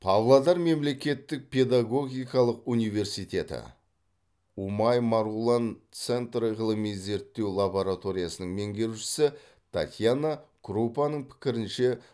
павлодар мемлекеттік педагогикалық университеті ұмай марғұлан центр ғылыми зерттеу лабороториясының меңгерушісі татьяна крупаның пікірінше